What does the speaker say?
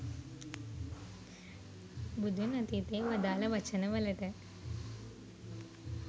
බුදුන් අතීතයේ වදාල වචන වලට